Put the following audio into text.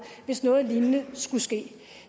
hvis noget lignende skulle ske